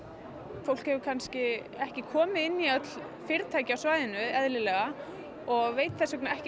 fólk hefur kannski ekki komið inn í öll fyrirtæki á svæðinu eðlilega og veit þess vegna ekki